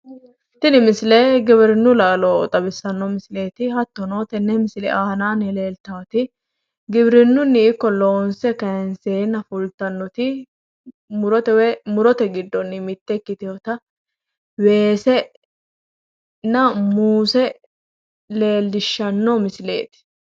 Tini misile giwirinnu laaloti woyi babbaxitinotta weesenna muuzete nootta xawisano